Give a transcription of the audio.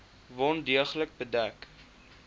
wond deeglik bedek